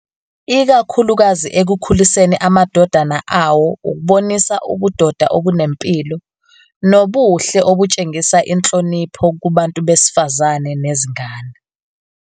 Ikakhulukazi ekukhuliseni amadodana awo ukubonisa ubudoda obunempilo, nobuhle obutshengisa inhlonipho kubantu besifazane nezingane.